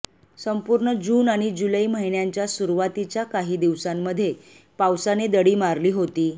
संपूर्ण जून आणि जुलै महिन्यांच्या सुरूवातीच्या काही दिवसामधे पावसाने दडी मारली होती